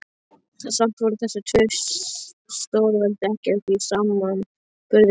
Samt voru þessi tvö stórveldi ekkert í samanburði við Tótu.